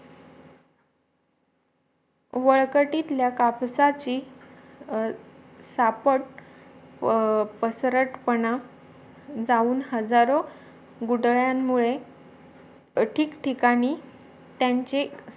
वळकटीतल्या कपासाची सापट पसरटपणा जाऊन हजारो गुठळ्यांमुळे ठीक ठिकाणी त्यांचे